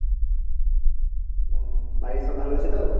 ও বাড়ির সব ভালো আছে তো?